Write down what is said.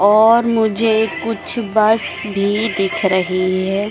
और मुझे कुछ बस भी दिख रही है।